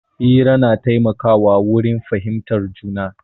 Hira na taimaka wa wurin fahimtar juna